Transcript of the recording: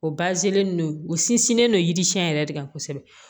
O no u sinsinnen no yiri siɲɛ yɛrɛ de kan kosɛbɛ